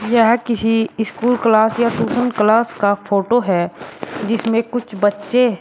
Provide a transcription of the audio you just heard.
यह किसी school class या ट्यूशन क्लास का फोटो है जिसमें कुछ बच्चे--